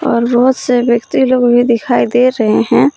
और बहोत से व्यक्ति लोग भी दिखाई दे रहे है।